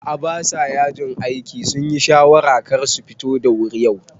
A'a basa yajin aiki, sunyi shawarar karsu futu da wuri yau